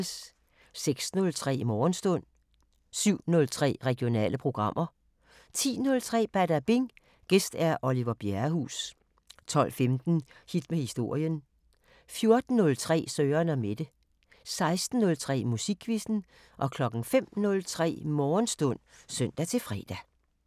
06:03: Morgenstund 07:03: Regionale programmer 10:03: Badabing: Gæst Oliver Bjerrehuus 12:15: Hit med historien 14:03: Søren & Mette 16:03: Musikquizzen 05:03: Morgenstund (søn-fre)